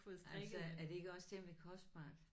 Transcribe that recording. Altså er det ikke også temmelig kostbart?